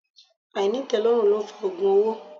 Ainitelorun lo ń fa ogun owó.